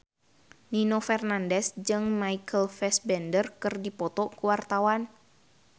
Nino Fernandez jeung Michael Fassbender keur dipoto ku wartawan